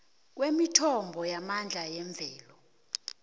kwemithombo yamandla yemvelo